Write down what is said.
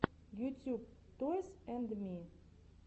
ютьюб тойс энд ми